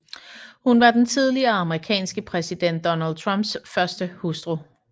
Hun var den tidligere amerikanske præsident Donald Trumps første hustru